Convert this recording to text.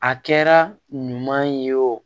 A kɛra ɲuman ye wo